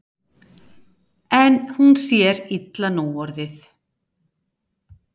En hún sér illa núorðið.